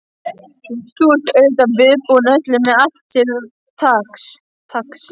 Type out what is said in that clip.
Þú ert auðvitað viðbúinn öllu. með allt til taks?